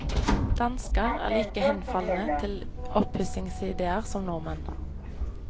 Dansker er like henfalne til oppussingsidéer som nordmenn.